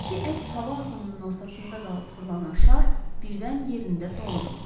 İki əks hava axınının ortasında qalıb fırlanan şar birdən yerində dondu.